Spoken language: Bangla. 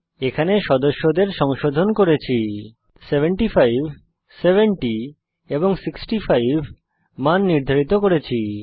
এখানে সদস্যদের সংশোধন করেছি 75 70 এবং 65 মান নির্ধারিত করেছি